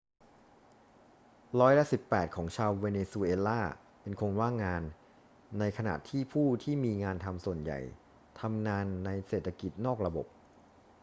ร้อยละสิบแปดของชาวเวเนซุเอลาเป็นคนว่างงาน ในขณะที่ผู้ที่มีงานทำส่วนใหญ่ทำงานในเศรษฐกิจนอกระบบ